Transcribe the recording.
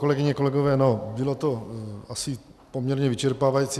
Kolegyně, kolegové, no, bylo to asi poměrně vyčerpávající.